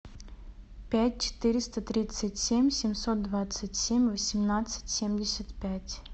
пять четыреста тридцать семь семьсот двадцать семь восемнадцать семьдесят пять